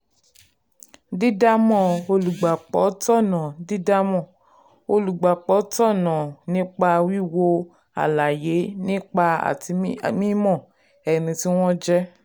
dídámọ̀ olùgbapò tọ̀nà dídámọ̀ olùgbapò tọ̀nà nípa wíwo àlàyé pípé àti mímọ ẹni tí wọ́n jẹ́.